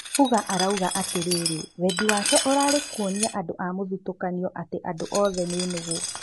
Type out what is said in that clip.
Fuga arauga atĩriri wendi wake ũrarĩ wa kũonia andũ a mũthutũkanio atĩ "andũ othe ni nũgũ."